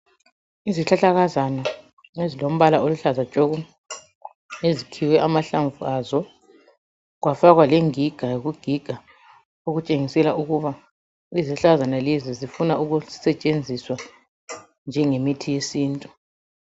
Izihlahlakazana ezilombala oluhlaza tshoko ezikhiwe amahlamvu azo kwafakwa lengiga eyokugiga okutshengisela ukuba izihlahlakazana lezinzifuna ukusetshenziswa njengemithi yesintu.